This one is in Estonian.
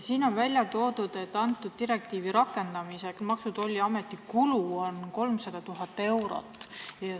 Siin on välja toodud, et direktiivi rakendamisel on Maksu- ja Tolliameti kulud 300 000 eurot.